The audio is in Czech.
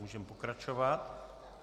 Můžeme pokračovat.